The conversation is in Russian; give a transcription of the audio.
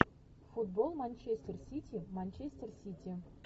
футбол манчестер сити манчестер сити